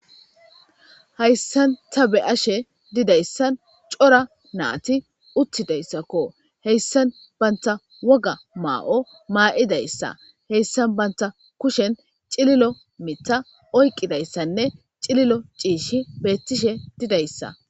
hayssan ta be7ashe didayssan cora naati uttidayssakko heyssan banta woga maa7o maa7idayssa heyssan banta kushen cililo mitha oyqidayssanne cililo ciishi beettishe didayssa